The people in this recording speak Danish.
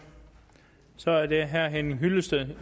så er det herre henning hyllested